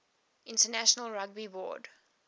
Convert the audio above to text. international rugby board